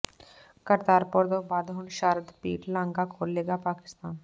ਕਰਤਾਰਪੁਰ ਤੋਂ ਬਾਅਦ ਹੁਣ ਸ਼ਾਰਦਾ ਪੀਠ ਲਾਂਘਾ ਖੋਲ੍ਹੇਗਾ ਪਾਕਿਸਤਾਨ